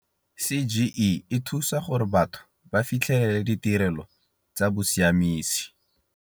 CGE e thusa gore batho ba fitlhelele ditirelo tsa bosiamisi.